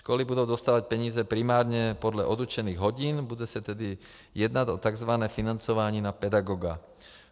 Školy budou dostávat peníze primárně podle odučených hodin, bude se tedy jednat o tzv. financování na pedagoga.